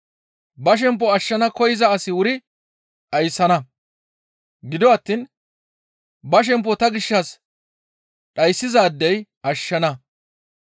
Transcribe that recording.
Ba shempo ashshana koyza asi wuri dhayssana; gido attiin ba shempo ta gishshas dhayssizaadey ashshana.